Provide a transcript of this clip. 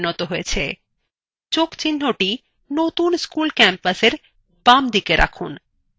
যোগ চিন্হthe নতুন school campusএর বামদিকে বসান